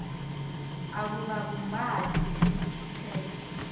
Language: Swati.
akukabumbani itheksthi